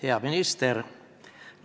Hea minister!